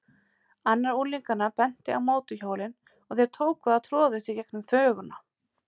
Annar unglinganna benti á mótorhjólin og þeir tóku að troðast í gegnum þvöguna.